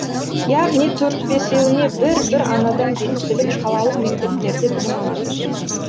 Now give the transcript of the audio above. яғни төрт бесеуіне бір бір анадан бекітіліп қалалық мектептерде білім алады